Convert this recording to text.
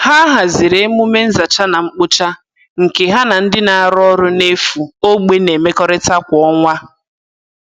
Ha haziri emume nzacha na mkpocha nke ha na ndị na-arụ ọrụ n'efu ogbe na-emekọrịta kwa ọnwa